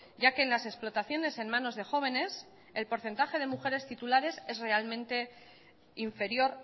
ya que en las explotaciones en manos de jóvenes el porcentaje de mujeres titulares es realmente inferior